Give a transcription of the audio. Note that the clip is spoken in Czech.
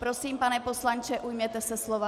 Prosím, pane poslanče, ujměte se slova.